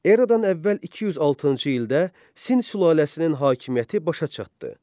Erada əvvəl 206-cı ildə Sin sülaləsinin hakimiyyəti başa çatdı.